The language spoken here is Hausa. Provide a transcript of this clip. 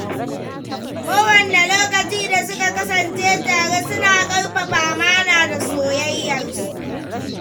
Kowanne lokaci da suka kasance tare, suna ƙarfafa amana da soyayyarsu.